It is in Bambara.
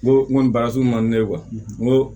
N ko n ko nin baara sun man di ne ye n ko